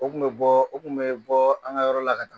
O kun bɛ bɔ o kun bɛ bɔ an ka yɔrɔ la ka na.